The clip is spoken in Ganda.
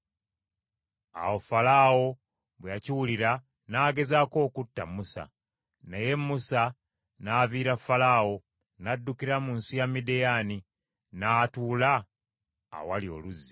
Awo Falaawo bwe yakiwulira, n’agezaako okutta Musa. Naye Musa n’aviira Falaawo, n’addukira mu nsi ya Midiyaani; n’atuula awali oluzzi.